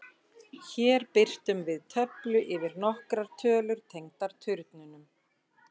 Hér birtum við töflu yfir nokkrar tölur tengdar turnunum: